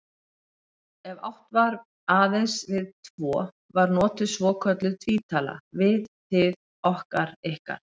Ef átt var aðeins við tvo var notuð svokölluð tvítala, við, þið, okkar, ykkar.